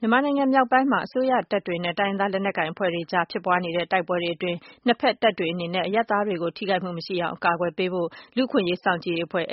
မြန်မာနိုင်ငံမြောက်ပိုင်းမှာ အစိုးရတပ်တွေ နဲ့ တိုင်းရင်းသား လက်နက်ကိုင် အဖွဲ့တွေကြားဖြစ်ပွားနေတဲ့ တိုက်ပွဲတွေအတွင်း ၂ ဘက်တပ်တွေအနေနဲ့ အရပ်သားတွေကို ထိခိုက်မှုမရှိအောင် အကာအကွယ်ပေးဖို့ လူ့အခွင့်အရေးစောင့်ကြည့်ရေး အဖွဲ့ က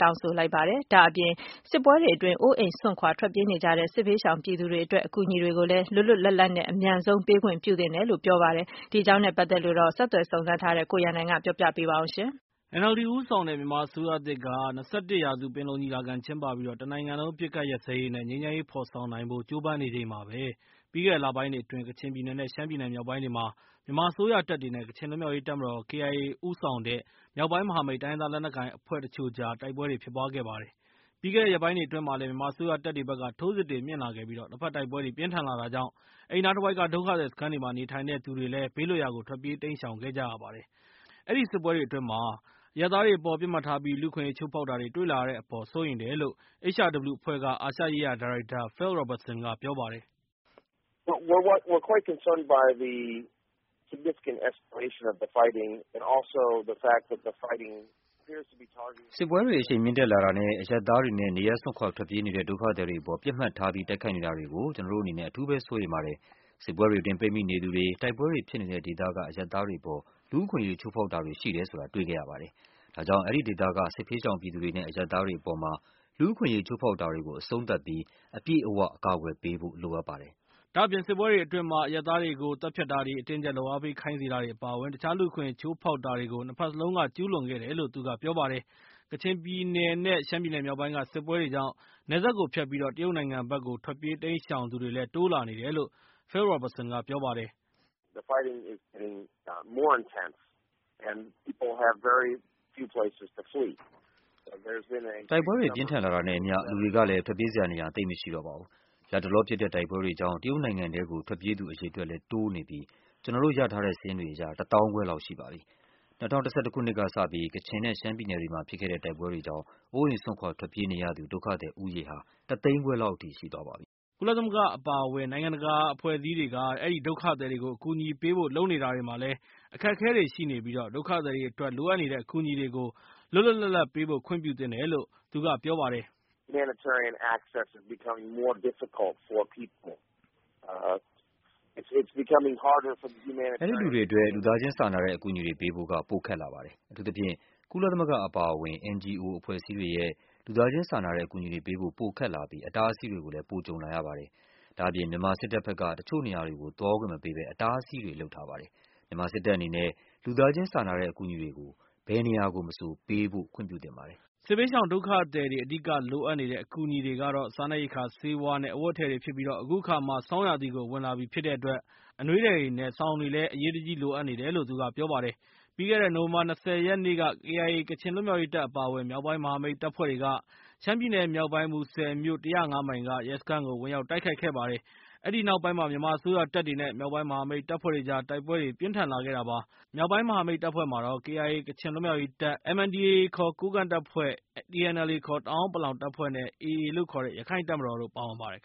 တောင်းဆိုလိုက်ပါတယ်။ ဒါ့အပြင် စစ်ပွဲတွေအတွင်းအိုးအိမ်စွန့်ခွာထွက်ပြေးနေကြတဲ့ စစ်ဘေးရှောင်ပြည်သူတွေ အတွက် အကူအညီတွေကိုလည်း လွတ်လွတ်လပ်လပ်နဲ့ အမြန်ဆုံးပေး ခွင့်ပြုသင့်တယ်လို့ပြောလိုက်ပါတယ်။ ဒီအကြောင်းနဲ့ ပတ်သက်ပြီး အပြည့်အစုံကို ဆက်သွယ်စုံစမ်းထားတဲ့ ကိုရန်နိုင်က ပြောပြပေးမှာဖြစ်ပါတယ်။ NLD ဦးဆောင်တဲ့ မြန်မာအစိုးရသစ်က ၂၁ ရာစုပင်လုံညီလာခံကျင်းပပြီး၊ တနိုင်ငံလုံးအပစ်အခတ်ရပ်စဲရေး နဲ့ ငြိမ်းချမ်းရေးဖော်ဆောင်နိုင်ဖို့ ကြိုးပမ်းနေချိန်မှာပဲ၊ ပြီးခဲ့တဲ့ လပိုင်းတွေအတွင်း ကချင်ပြည်နယ် နဲ့ ရှမ်းပြည်နယ်မြောက်ပိုင်းတွေ မှာ မြန်မာအစိုးရတပ်တွေ နဲ့ ကချင်လွတ်မြောက်ရေးတပ်မတော် KIA ဦးဆောင်တဲ့ မြောက်ပိုင်းမဟာမိတ် တိုင်းရင်းသားလက်နက်ကိုင်အဖွဲ့ တချို့ကြား တိုက်ပွဲတွေဖြစ်ပွားခဲ့တာပါ။ ပြီးခဲ့တဲ့ ရက်ပိုင်းတွေအတွင်းမှာလည်း မြန်မာအစိုးရတပ်တွေဘက် ထိုးစစ်တွေမြှင့်လာပြီး၊ ၂ ဘက်တိုက်ပွဲတွေ ပြင်းထန်လာတာကြောင့် အဲဒီနားတဝိုက်က ဒုက္ခသည်စခန်းတွေမှာ နေထိုင်တဲ့သူတွေလည်း ဘေးလွတ်ရာကို ထွက်ပြေးတိမ်းရှောင်ခဲ့ကြပါတယ်။ စစ်ပွဲတွေအတွင်း အရပ်သားတွေအပေါ်မှာ ပစ်မှတ်ထားပြီး လူ့အခွင့်အရေးချိုးဖောက်တာတွေ တွေ့လာရတယ်အပေါ်မှာ စိုးရိမ်တယ်လို့ HRW အဖွဲ့က အာရှရေးရာ ဒါရိုက်တာ Phil Robertson က ပြောပါတယ်။ "စစ်ပွဲတွေ အရှိန်မြှင့်တက်လာတာနဲ့ အရပ်သားတွေ နဲ့ နေရပ်စွန့်ခွာ ထွက်ပြေးနေကြတဲ့ ဒုက္ခသည်တွေအပေါ်မှာ ပစ်မှတ်ထားပြီး တိုက်ခိုက်နေတာတွေကို ကျနော်တို့အနေနဲ့ အထူးပဲ စိုးရိမ်ပါတယ်။ စစ်ပွဲတွေအတွင်းမှာ ပိတ်မိနေတဲ့သူတွေ၊ တိုက်ပွဲတွေဖြစ်နေတဲ့ဒေသက အရပ်သားတွေအပေါ် လူ့အခွင့်အရေးချိုးဖောက်တာတွေ ရှိတယ်ဆိုတာတွေ့ခဲ့ရပါတယ်။ ဒါကြောင့် အဲဒီဒေသက စစ်ဘေးရှောင်ပြည်သူတွေနဲ့ အရပ်သားတွေအပေါ်မှာ လူ့အခွင့်အရေးချိုးဖောက်တာတွေကို အဆုံသတ်ပြီး အပြည့်အဝအကာအကွယ်ပေးဖို့အတွက်လိုအပ်ပါတယ်။" ဒါ့အပြင် စစ်ပွဲတွေအတွင်း အရပ်သားတွေကို သတ်ဖြတ်တာတွေ၊ အတင်းအကြပ် လုပ်အားပေးခိုင်းစေတာတွေ အပါအဝင် တခြားလူ့အခွင့်အရေးချိုးဖောက်တာတွေ ၂ ဘက်စလုံးက ကျူးလွန်ခဲ့တယ်လို့ သူကပြောပါတယ်။ ကချင်ပြည်နယ် နဲ့ ရှမ်းပြည်နုယ်မြောက်ပိုင်းက စစ်ပွဲတွေကြောင့် နယ်စပ်ကိုဖြတ်ပြီး တရုတ်နိုင်ငံဘက်ကို ထွက်ပြေးတိမ်းရှောင်ကြသူတွေလည်း တိုးလာနေတယ်လို့ Phil Robertson က ပြောပါတယ်။ "တိုက်ပွဲတွေပြင်းထန်လာတာနဲ့ အမျှ၊ လူတွေကလည်း ထွက်ပြေးစရာနေရာ သိပ်မရှိတော့ပါဘူး။ လက်တလောဖြစ်ခဲ့တဲ့ တိုက်ပွဲတွေကြောင့် တရုတ်နိုင်ငံထဲကို ထွက်ပြေးတဲ့သူအရေအတွက်ကလည်း တိုးလာနေပြီး၊ ကျနော်တို့ရရှိတဲ့ စာရင်းတွေအရတော့ ၁ သောင်းခွဲလောက် ရှိပါတယ်။ ၂၀၁၁ ကစပြီး၊ ကချင်ပြည်နယ် နဲ့ ရှမ်းပြည်နယ်မှာဖြစ်ခဲ့တဲ့ ဒီတိုက်ပွဲတွေကြောင့် အိုးအိမ်စွန့်ခွာထွက်ပြေးနေရသူ ဒုက္ခသည်ဦးရေ ဟာ ၁ သိန်းခွဲလောက်ရှိပါတယ်။" ကုလသမဂ္ဂအဖွဲ့အစည်းတွေအပါအဝင် နိုင်ငံတကာက အဲဒီဒုက္ခသည်ကို အကူအညီပေးဖို့လုပ်နေတာတွေမှာလည်း အခက်အခဲတွေရှိနေပြီး၊ ဒုက္ခသည်တွေအတွက် လိုအပ်နေတဲ့ အကူအညီတွေကို လွတ်လွတ်လပ်ပေးဖို့ ခွင့်ပြုသင့်တယ်လို့ Phil Robertson က ပြောပါတယ်။ "အဲဒီလူတွေအတွက် လူသားချင်းစာနာတဲ့ အကူအညီတွေပေးဖို့က ပိုခက်လာပါတယ်။ အထူးသဖြင့် ကုလသမဂ္ဂအပါအဝင် NGO အဖွဲ့အစည်းတွေရဲ့ လူသားချင်းစာနာတဲ့အကူအညီတွေပေးဖို့ ပိုခက်လာပြီး အတားအဆီးတွေ ပိုကြုံလာရပါတယ်။ အထူးသဖြင့် မြန်မာစစ်တပ်ဘက် တချို့နေရာတွေကို သွားခွင့်မပေးပဲ အတားအဆီးတွေလုပ်ခဲ့ပါတယ်။ မြန်မာစစ်တပ်အနေနဲ့ လူသားချင်းစာနာတဲ့ အကူအညီတွေကို ဘယ်နေရာကိုမဆို ပေးဖို့ခွင့်ပြုသင့်ပါတယ်။" စစ်ဘေးရှောင်ဒုက္ခသည်တွေ အဓိကလိုအပ်နေတဲ့ အကူအညီတွေကတော့ စားနှပ်ရိက္ခာ၊ ဆေးဝါး နဲ့ အဝတ်အထည်တွေဖြစ်ပြီး၊ အခုအခါမှာ ဆောင်းရာသီကို ဝင်လာပြီးဖြစ်တဲ့အတွက် အနွေးထည်တွေ နဲ့ စောင်တွေလည်း အရေးတကြီးလိုအပ်တယ်လို့ သူကပြောပါတယ်။ ပြီးခဲ့တဲ့ နိုဝင်ဘာ ၂၀ ရက်နေ့ KIA ကချင်လွတ်မြောက်ရေးတပ် အပါအဝင် မြောက်ပိုင်းမဟာမိတ်တပ်ဖွဲ့တွေက ရှမ်းပြည်မြောက်ပိုင်း မူဆယ်မြို့ ၁၀၅ မိုင်က ရဲစခန်းကို ဝင်ရောက်တိုက်ခိုက်ခဲ့ပါတယ်။ အဲဒီနောက်ပိုင်းမှာ မြန်မာအစိုးရတပ်တွေ နဲ့ မြောက်ပိုင်းမဟာမိတ် တပ်ဖွဲ့တွေကြား တိုက်ပွဲတွေ ပြင်းထန်လာခဲ့တာဖြစ်ပါတယ်။ မြောက်ပိုင်းမဟာမိတ်တပ်ဖွဲ့မှာတော့ KIA ကချင်လွတ်မြောက်ရေးတပ်, MNDAA ခေါ် ကိုးကန့်တပ်ဖွဲ့၊ TNLA တအာန်းပလောင်တပ်ဖွဲ့ နဲ့ AA လို့ခေါ်တဲ့ ရခိုင်တပ်မတော် တို့ပါဝင်ပါတယ်